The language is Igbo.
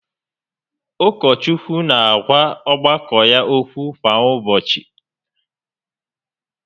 Ụkọchukwu n'agwa ọgbakọ ya okwu kwa ụbọchị